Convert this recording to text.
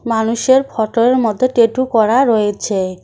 মানুষের ফটো -এর মধ্যে টেটু করা রয়েছে।